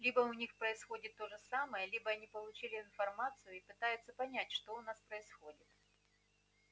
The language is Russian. либо у них происходит то же самое либо они получили информацию и пытаются понять что у нас происходит